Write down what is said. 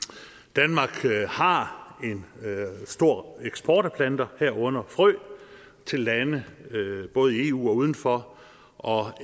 danmark har en stor eksport af planter herunder frø til lande både i eu og uden for og